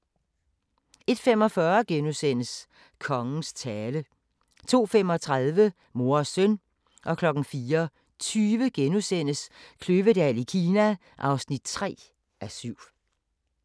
01:45: Kongens tale * 02:35: Mor og søn 04:20: Kløvedal i Kina (3:7)*